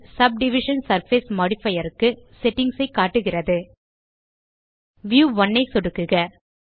subdivision surface modifier க்கு settings ஐ காட்டுகிறது வியூ 1 ஐ சொடுக்குக